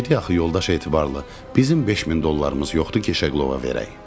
Dedi axı yoldaş Etibarlı, bizim 5000 dollarımız yoxdur ki, Şeqlova verək.